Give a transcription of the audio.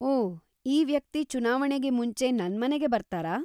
ಓಹ್, ಈ ವ್ಯಕ್ತಿ ಚುನಾವಣೆಗೆ ಮುಂಚೆ ನನ್ಮನೆಗೆ ಬರ್ತಾರಾ?